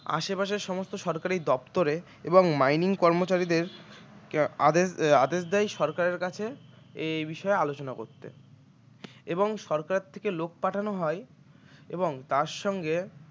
আশপাশের সমস্ত সরকারি দপ্তরে এবং mining কর্মচারীদের আদেশ আদেশ দেয় সরকারের কাছে এই বিষয়ে আলোচনা করতে এবং সরকার থেকে লোক পাঠানো হয় এবং তার সঙ্গে